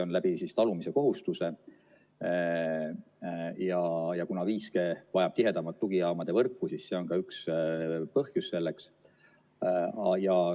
Kuna 5G vajab tihedamat tugijaamade võrku, siis see on ka üks põhjus selleks.